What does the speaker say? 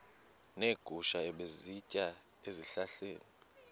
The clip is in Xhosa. neegusha ebezisitya ezihlahleni